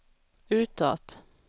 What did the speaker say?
utåt